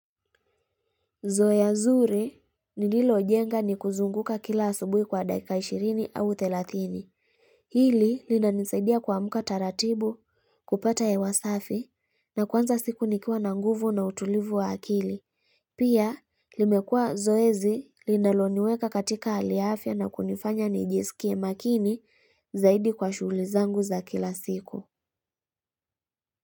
Zoeya zuri ni lilo jenga ni kuzunguka kila asubui kwa dakika 20 au 30. Hili lina nisaidia kuwamuka taratibu kupata hewa safi na kwanza siku nikiwa na nguvu na utulivu wa akili. Pia, limekua zoezi linaloniweka katika hali ya afya na kunifanya nijisikie makini zaidi kwa shuguli zangu za kila siku.